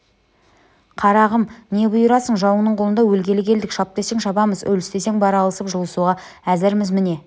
қарағым не бұйырасың жауыңның қолында өлгелі келдік шап десең шабамыз өліс десең бара алысып-жұлысуға әзірміз міне